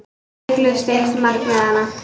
Já, það er hiklaust eitt markmiðanna.